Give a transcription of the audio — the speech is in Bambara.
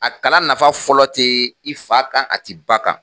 A kalan nafa fɔlɔ te i fa kan a te i ba kan